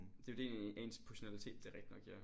Det jo det ens positionalitet det er rigtig nok ja